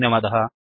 धन्यवादः